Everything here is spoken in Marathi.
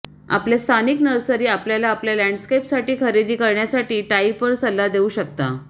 आपल्या स्थानिक नर्सरी आपल्याला आपल्या लँडस्केपसाठी खरेदी करण्यासाठी टाईप वर सल्ला देऊ शकतात